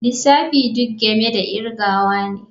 Lissafi duk game da kirgawa ne.